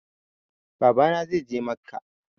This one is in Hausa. Baba na zai je macca